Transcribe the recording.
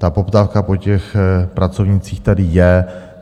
Ta poptávka po těch pracovnících tady je.